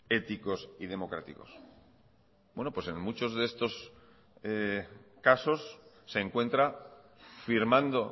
éticos y democráticos buenos pues en muchos de estos casos se encuentra firmando